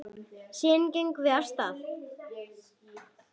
Síðan gengum við af stað.